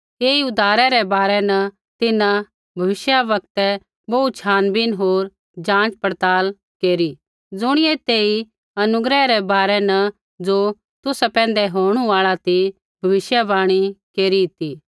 ऐई उद्धारै रै बारै न तिन्हां भविष्यवक्तै बोहू छानबीन होर जाँच पड़ताल केरी ज़ुणियै तेई अनुग्रह रै बारै न ज़ो तुसा पैंधै होणु आल़ा ती भविष्यवाणी केरी ती